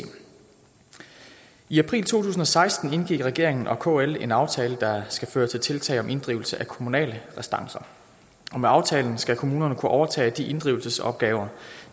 i april to tusind og seksten indgik regeringen og kl en aftale der skal føre til tiltag om inddrivelse af kommunale restancer og med aftalen skal kommunerne kunne overtage de inddrivelsesopgaver